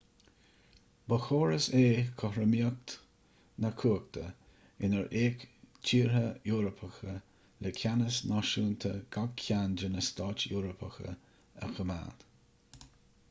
ba chóras é cothromaíocht na cumhachta inar fhéach tíortha eorpacha le ceannas náisiúnta gach ceann de na stáit eorpacha a choimeád